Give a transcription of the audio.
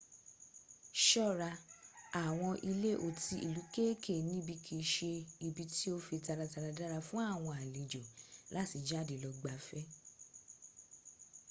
ṣọ́ra àwọn ilé otí ìlú kéèké níbí kìí ṣe ibi tí ó fi taratara dára fún àwọn alejò láti jade lọ gbáfẹ́